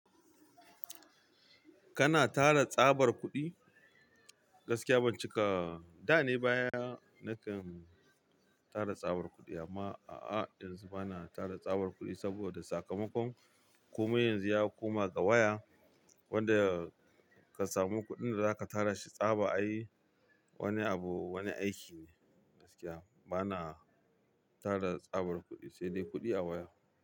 Kana tara tsabar kuɗi? Gaskiya ban cika, da ne baya nakan tara tsabar kuɗi amma a'a yanzu bana tara tsabar kuɗi saboda sakamakon komai yanzu ya koma ga waya. Wadda ka samu kudin da zaka tara shi tsaba ai wani abu, wani aiki ne. Gaskiya bana tara tsabar kuɗi, sai dai kuɗi a waya.